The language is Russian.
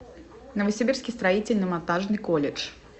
новосибирский строительно монтажный колледж